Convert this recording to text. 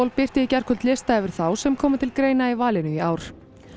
birti í gærkvöld lista yfir þá sem koma til greina í valinu í ár